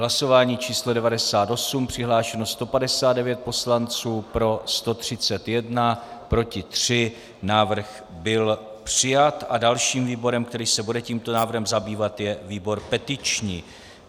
Hlasování číslo 98, přihlášeno 159 poslanců, pro 131, proti 3, návrh byl přijat a dalším výborem, který se bude tímto návrhem zabývat, je výbor petiční.